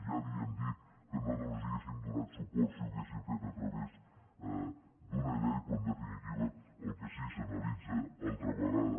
ja li hem dit que nosaltres els hauríem donat suport si ho haguessin fet a través d’una llei però en definitiva el que sí que s’analitza altra vegada